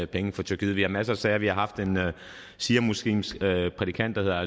penge fra tyrkiet vi har masser af sager vi har haft en shiamuslimsk prædikant der